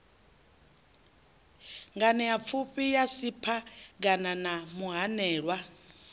nganeapfufhi ya siphegana na muhanelwa